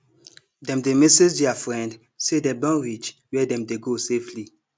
dem dey message their friend say dem don reach where dem dey go safely